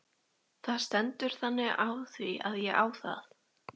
Það stendur þannig á því að ég á það!